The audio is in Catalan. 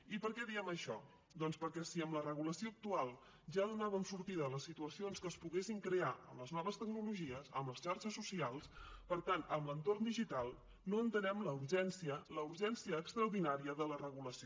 i per què diem això doncs perquè si amb la regulació actual ja donàvem sortida a les situacions que es poguessin crear amb les noves tecnologies amb les xarxes socials per tant amb l’entorn digital no entenem la urgència la urgència extraordinària de la regulació